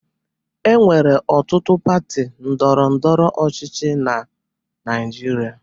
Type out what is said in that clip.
Enwere ọtụtụ pati ndọrọ ndọrọ ọchịchị na Naịjirịa